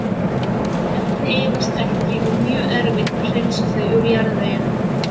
Þessi efni eyðast ekki og mjög erfitt að hreinsa þau úr jarðveginum.